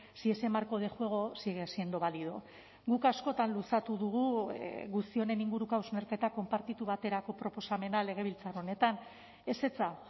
si ese marco de juego sigue siendo válido guk askotan luzatu dugu guzti honen inguruko hausnarketa konpartitu baterako proposamena legebiltzar honetan ezetza